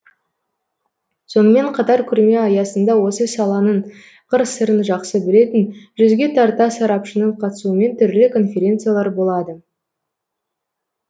сонымен қатар көрме аясында осы саланың қыр сырын жақсы білетін жүзге тарта сарапшының қатысуымен түрлі конференциялар болады